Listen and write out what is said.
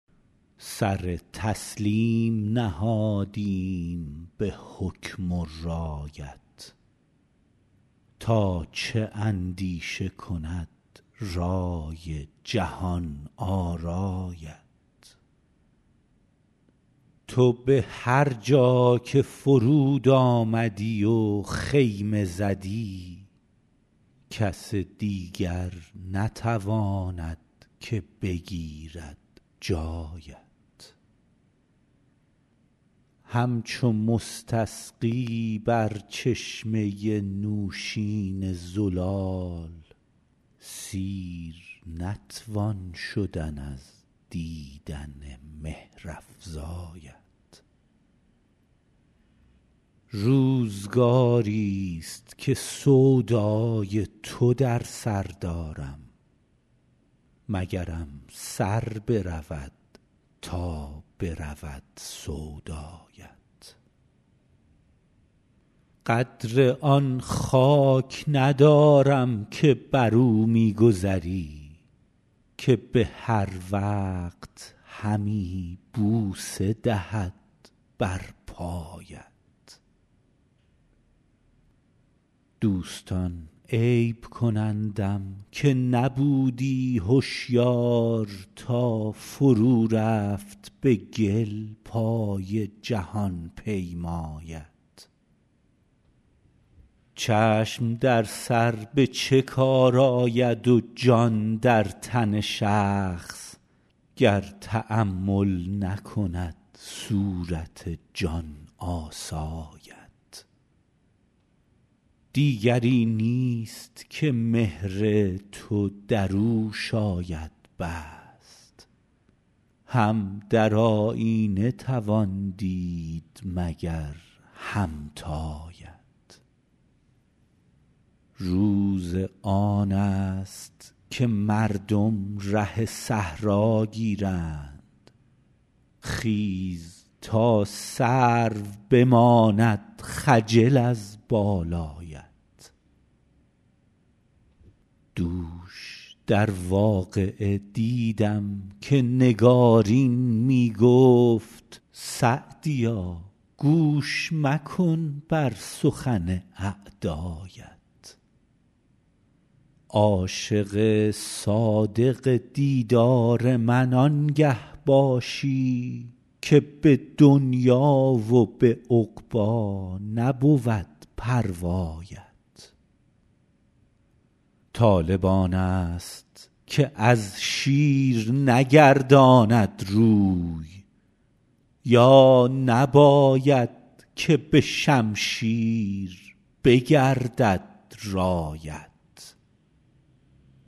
سر تسلیم نهادیم به حکم و رایت تا چه اندیشه کند رای جهان آرایت تو به هر جا که فرود آمدی و خیمه زدی کس دیگر نتواند که بگیرد جایت همچو مستسقی بر چشمه نوشین زلال سیر نتوان شدن از دیدن مهرافزایت روزگاریست که سودای تو در سر دارم مگرم سر برود تا برود سودایت قدر آن خاک ندارم که بر او می گذری که به هر وقت همی بوسه دهد بر پایت دوستان عیب کنندم که نبودی هشیار تا فرو رفت به گل پای جهان پیمایت چشم در سر به چه کار آید و جان در تن شخص گر تأمل نکند صورت جان آسایت دیگری نیست که مهر تو در او شاید بست هم در آیینه توان دید مگر همتایت روز آن است که مردم ره صحرا گیرند خیز تا سرو بماند خجل از بالایت دوش در واقعه دیدم که نگارین می گفت سعدیا گوش مکن بر سخن اعدایت عاشق صادق دیدار من آنگه باشی که به دنیا و به عقبی نبود پروایت طالب آن است که از شیر نگرداند روی یا نباید که به شمشیر بگردد رایت